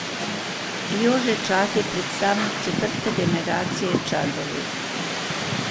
Jože Čad je predstavnik četrte generacije Čadovih.